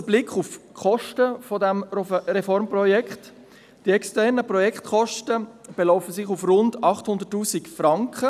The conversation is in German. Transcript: Ein kurzer Blick auf die Kosten dieses Reformprojekts: Die externen Projektkosten belaufen sich auf rund 800 000 Franken.